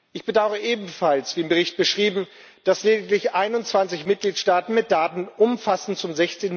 Ich bedaure ebenfalls wie im Bericht beschrieben dass lediglich 21 Mitgliedstaaten mit Daten umfassend zum